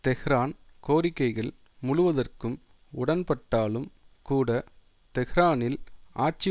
Tehran கோரிக்கைகள் முழுவதற்கும் உடன்பட்டாலும் கூட டெஹ்ரானில் ஆட்சி